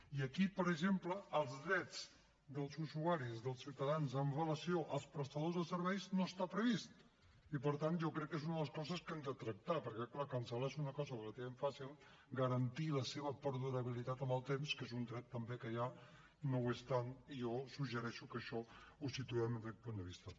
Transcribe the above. i aquí per exemple els drets dels usuaris dels ciutadans amb relació als prestadors de serveis no està previst i per tant jo crec que és una de les coses que hem de tractar perquè clar cancel·lar és una cosa relativament fàcil garantir la seva perdurabilitat en el temps que és un dret també que hi ha no ho és tant i jo suggereixo que això ho situem des d’aquest punt de vista